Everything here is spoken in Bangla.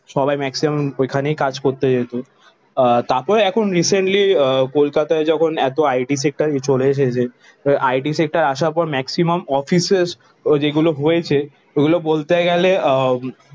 সবাই ম্যাক্সিমাম ওইখানেই কাজ করতে যেত। আহ তারপরে এখন রিসেন্টলি আহ কলকাতায় যখন এত IT সেক্টর চলে এসেছে, IT সেক্টর আসার পর ম্যাক্সিমাম অফিসের যেগুলো হয়েছে ওগুলো বলতে গেলে আহ